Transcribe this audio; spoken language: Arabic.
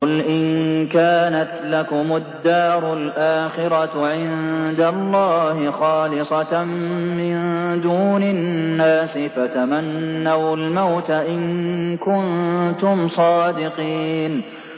قُلْ إِن كَانَتْ لَكُمُ الدَّارُ الْآخِرَةُ عِندَ اللَّهِ خَالِصَةً مِّن دُونِ النَّاسِ فَتَمَنَّوُا الْمَوْتَ إِن كُنتُمْ صَادِقِينَ